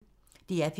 DR P1